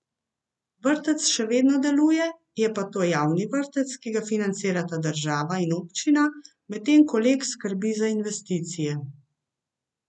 Vrtec še vedno deluje, je pa to javni vrtec, ki ga financirata država in občina, medtem ko Lek skrbi za investicije.